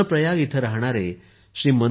रूद्र प्रयाग येथे राहणारे श्री